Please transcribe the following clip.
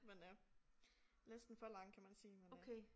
Men øh næsten for lang kan man sige men øh